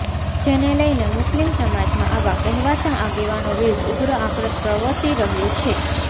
જેને લઈને મુસ્લિમ સમાજમાં આવા કહેવાતા આગેવાનો વિરૂદ્ધ ઉગ્ર આક્રોસ પ્રવર્તી રહ્યો છે